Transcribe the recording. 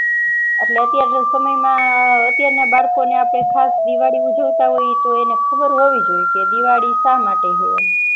એટલે અત્યાર ના સમય માં અતિયાર ના બાળકો ને આપણે ખાસ દિવાળી ઉજવાતા હોય એને ખબર હોવી જોયે દિવાળી શા માટે હ